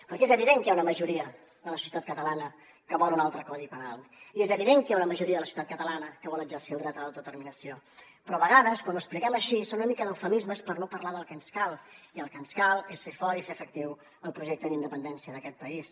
perquè és evident que hi ha una majoria de la societat catalana que vol un altre codi penal i és evident que hi ha una majoria de la societat catalana que vol exercir el dret a l’autodeterminació però a vegades quan ho expliquem així són una mica eufemismes per no parlar del que ens cal i el que ens cal és fer fort i fer efectiu el projecte d’independència d’aquest país